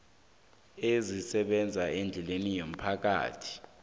ezisebenza eendleleni zomphakathi